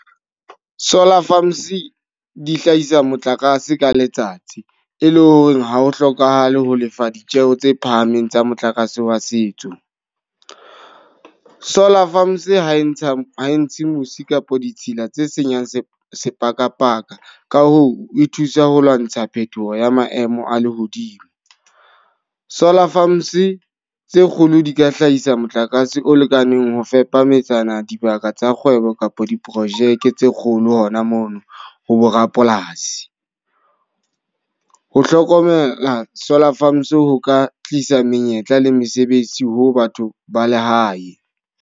Solar farms di hlahisa motlakase ka letsatsi. E le hore ha ho hlokahale ho lefa ditjeho tse phahameng tsa motlakase wa setso. Solar farms ha e ntsha ha e ntshe musi kapa ditshila tse senyang se sepakapaka. Ka hoo, e thusa ho lwantsha phetoho ya maemo a lehodimo. Solar farms tse kgolo di ka hlahisa motlakase o lekaneng ho fepa metsana, dibaka tsa kgwebo kapa diprojeke tse kgolo hona mono ho bo rapolasi. Ho hlokomela solar farms ho ka tlisa menyetla le mesebetsi ho batho ba lehae.